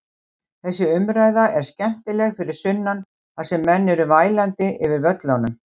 Þessi umræða er skemmtileg fyrir sunnan þar sem menn eru vælandi yfir völlunum.